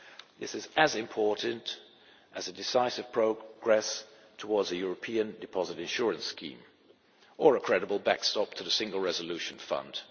This is as important as decisive progress towards a European deposit insurance scheme or a credible backstop to the Single Resolution Fund.